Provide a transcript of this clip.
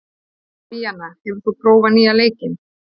Díanna, hefur þú prófað nýja leikinn?